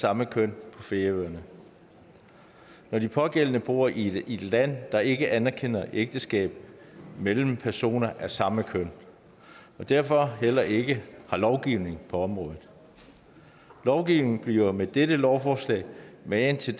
samme køn på færøerne når de pågældende bor i et land der ikke anerkender ægteskab mellem personer af samme køn og derfor heller ikke har lovgivning på området lovgivningen bliver med dette lovforslag magen til